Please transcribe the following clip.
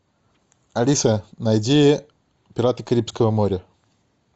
алиса найди пираты карибского моря